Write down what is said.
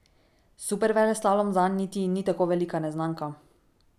Superveleslalom zanj niti ni tako velika neznanka.